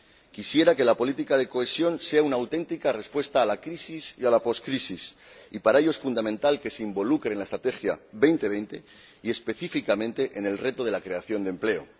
Quisiera que la política de cohesión sea una auténtica respuesta a la crisis y a la poscrisis y, para ello, es fundamental que se integre en la Estrategia 2020 y, específicamente, en el reto de la creación de empleo.